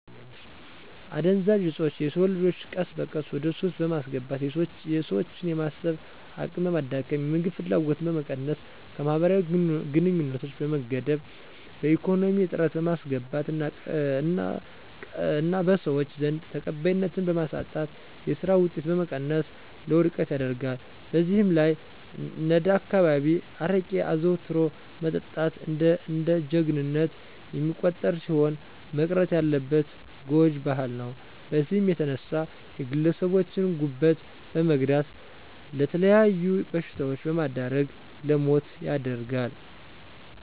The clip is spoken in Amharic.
አደንዘዠኦጾቾ የሰወንልጆቾ ቀስበቀስ ወደሱስ በማስገባት የሰወችን የማሰብ አቅምበማዳከም፣ የምግብ ፍላጎትን በመቀነስ ከመህበራዊግንኙነት በመገደብ በኢኮነሚ እጥረት በማስገባት እና ቀሰወች ዘንድ ተቀባይነትን በማሳጣት የሰራ ወጤትን በመቀነስ ለወድቀት ይደርጋል። በዘህላይ አነዳካባቢየ አረቄ አዘዉትሮ መጠጣት እንደጀጀግንነት የሚቆጠርሲሆን መቅረት ያለበት ጓጅ ባህል ነዉ በዚህም የተነሳ የግለሰቦቸን ጉበት በመጉዳት ለመተለያዩ በሽታወች በመዳረግ ለሞት ይደርጋል።